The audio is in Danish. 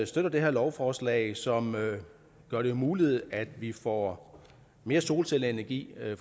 støtter det her lovforslag som gør det muligt at vi får mere solcelleenergi